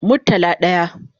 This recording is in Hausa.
Murtala daya